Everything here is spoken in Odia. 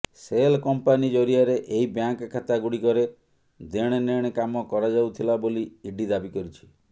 ସେଲ କମ୍ପାନୀ ଜରିଆରେ ଏହି ବ୍ୟାଙ୍କ ଖାତା ଗୁଡିକରେ ଦେଣନେଣ କାମ କରାଯାଉଥିଲା ବୋଲି ଇଡି ଦାବି କରିଛି